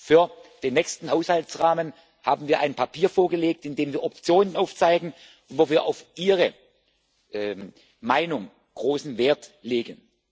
Für den nächsten Haushaltsrahmen haben wir ein Papier vorgelegt, in dem wir Optionen aufzeigen und wo wir auf Ihre Meinung großen Wert legen.